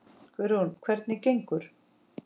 Guðrún: Hvernig gengur?